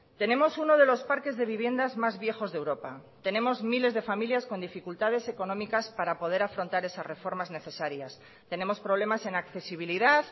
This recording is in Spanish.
tenemos uno de los parques de viviendas más viejos de europa tenemos miles de familias con dificultades económicas para poder afrontar esas reformas necesarias tenemos problemas en accesibilidad